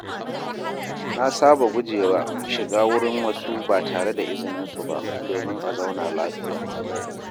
Na saba guje wa shiga wurin wasu ba tare da izininsu ba, domin a zauna lafiya.